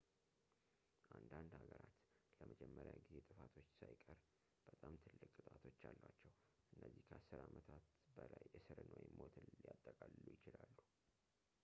አንዳንድ ሃገራት ለመጀመሪያ ጊዜ ጥፋቶች ሳይቀር በጣም ትልቅ ቅጣቶች አሏቸው እነዚህ ከ10 ዓመታት በላይ እስርን ወይም ሞትን ሊያጠቃልሉ ይችላሉ